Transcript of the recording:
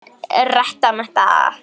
Þetta var mikið fjör.